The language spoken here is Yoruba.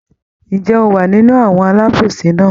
Ǹjẹ́ ó wa nínú àwọn alábòsí náà?